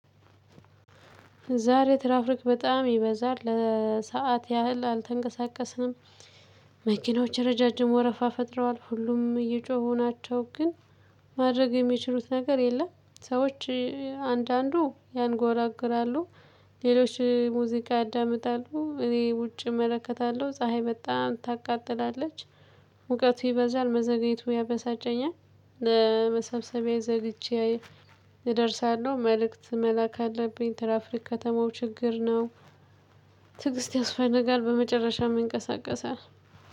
ዛሬ ትራፍሪክ በጣም ይበዛል ለሰአት ያህል አልተንቀሳቀስንም። መኪናዎች ረዣዥም ወረፋ ፈጥረዋል ሁሉም እየጮኸው ናቸው። ግን ማድረግ የሚችሉት ነገር የለም። ሰዎች አንዳንዱ ያንጎራግራሉ ሌሎች ሙዚቃ ያዳምጣሉ። እኔ ውጪ እመለከታለሁ ፀሀይ በጣም ታቃጥላለች። እውቀቴ በዛን መዘግየቱ ያበሳጨኛል። ለመሰብሰቢያ ዘልቼ እደርሳለሁ መልእክት መላክ አለብኝ። ተራፍሪክ ከተማው ችግር ነው። ትዕግስት ያስፈልጋል በመጨረሻ መንቀሳቀሰ